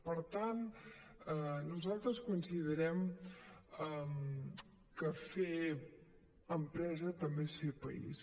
per tant nosaltres considerem que fer empresa també és fer país